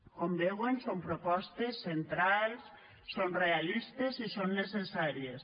com veuen són propostes centrals són realistes i són necessàries